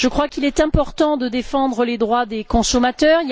Il est important de défendre les droits des consommateurs.